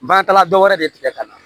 Baarakɛla dɔ wɛrɛ de tigɛ ka na